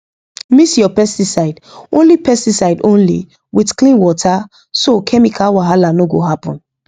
mix your pesticide only pesticide only with clean water so chemical wahala no go happen